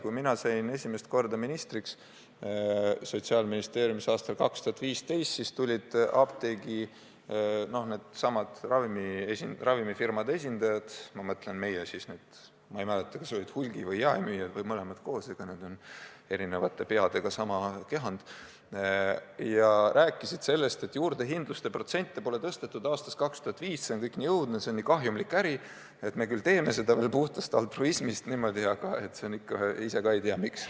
Kui mina sain esimest korda sotsiaalministriks, see oli aastal 2015, siis tulid minu juurde ravimifirmade esindajad – ma ei mäleta, kas need olid hulgi- või jaemüüjad või mõlemad koos, aga eks see ole eri peadega üks kehand – ja rääkisid sellest, et juurdehindluse protsente pole tõstetud aastast 2005, see on kõik nii õudne, see on nii kahjumlik äri, me teeme seda puhtast altruismist ja ise ka ei tea, miks.